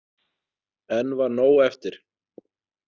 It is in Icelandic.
Enn var nóg eftir.